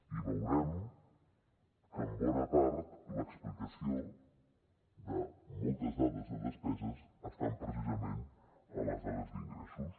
i veurem que en bona part l’explicació de moltes dades de despeses estan precisament en les dades d’ingressos